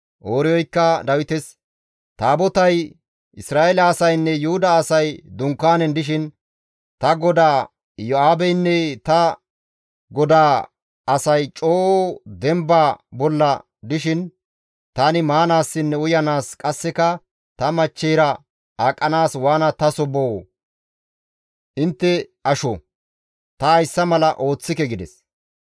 Ooriyoykka Dawites, «Taabotay, Isra7eele asaynne Yuhuda asay dunkaanen dishin, ta godaa Iyo7aabeynne ta godaa asay coo demba bolla dishin tani maanaassinne uyanaas qasseka ta machcheyra aqanaas waana taso boo? Intte asho! Ta hayssa mala ooththike» gides.